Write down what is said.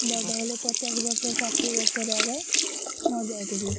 ବଡ ହେଲେ ପଚାଶ ବର୍ଷ ଷାଠିଏ ବର୍ଷରେ ଏବେ ମରି ଯାଉଛନ୍ତି।